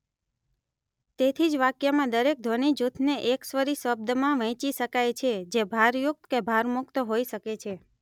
તેથી જ વાક્યમાં દરેક ધ્વનિજૂથને એકસ્વરી શબ્દમાં વહેંચી શકાય છે જે ભારયુક્ત કે ભારમુક્ત હોઇ શકે છે